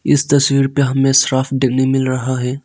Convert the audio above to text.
इस तस्वीर पे हमें शराफ डेली मिल रहा है।